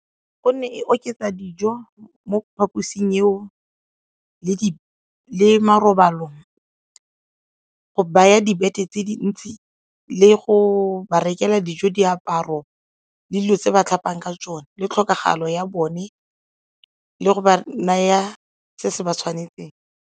Gonne e oketsa dijo mo phaposing eo le marobalo go baya di-bed-e tse dintsi le go ba rekela dijo, diaparo le dilo tse ba tlhapang ka tsone le tlhokagalo ya bone le go ba naya se se ba tshwanetseng.